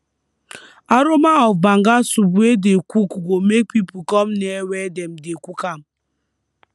aroma of banga soup wey dey cook go make people come near where dem dey cook am